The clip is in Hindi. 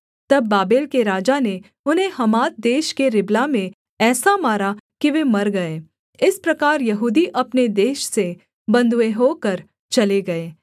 तब बाबेल के राजा ने उन्हें हमात देश के रिबला में ऐसा मारा कि वे मर गए इस प्रकार यहूदी अपने देश से बँधुए होकर चले गए